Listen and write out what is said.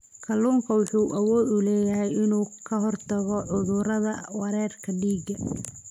Kalluunku wuxuu awood u leeyahay inuu ka hortago cudurrada wareegga dhiigga.